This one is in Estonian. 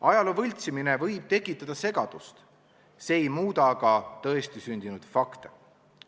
Ajaloo võltsimine võib tekitada segadust, see ei muuda aga tõestisündinud fakte.